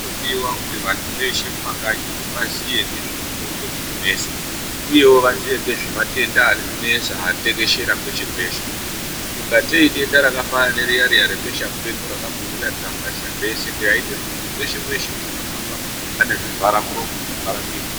Zvinodiva kuti vantu veshe mumakanyimo vaziye ngezvemitombo dzinonesa, uyevo vaziye nezvematenda ari kunesa atekeshera kweshe-kweshe. Kungatei idenda rakafanana neriya-riya rebesha mupengo rakambouya rikavharisa zveshe raindoti muntu veshe-veshe vaindohamba aine zvivara muromo nezvivhara miro.